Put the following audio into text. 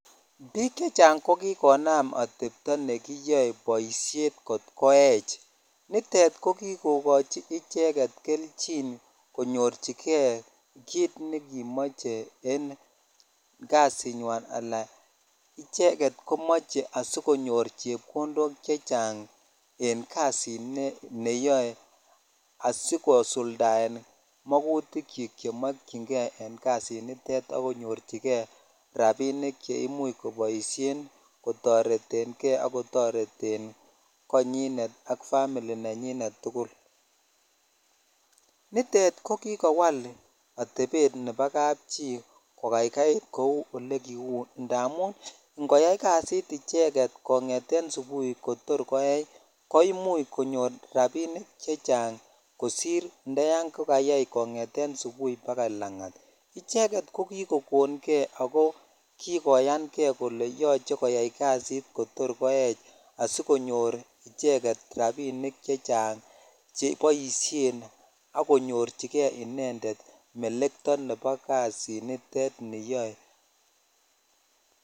Biik chechang kokikonam boisiet nekiyoe atepto nekiyoe boisiet kot koech, nitet kokikochi icheket kelchin konyorchike kit nekimoche en kasinywan ala icheket komoche sikonyor chepkondok chechang en kasini yoe asikosuldaen mokutikyik chemokyingee en kasinito akonyorchike rapinik cheimuch koboisien kotoretenge akotoreten konyinet ak family nenyinet tugul nitet kokikowal atepet ne bo kapchi kokaikait kou olekiu ndamun ngoyai kasit icheket kong'eten subuhi kotor koech koimuch konyor rapinik chechang kosir ndayan kokayai kong'eten subuhi bakai lang'at icheket ko kikokon ge ako kikoyange kole yoche koyai kasit kotor koech asikonyor icheket rapinik chechang cheboisien akonyorchige inendet melekto ne bo kasinitet niyoe.